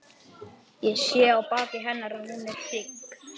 Ég sé á baki hennar að hún er hrygg.